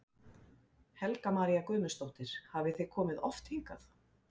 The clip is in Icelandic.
Helga María Guðmundsdóttir: Hafið þið komið oft hingað?